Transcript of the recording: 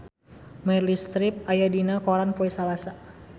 Meryl Streep aya dina koran poe Salasa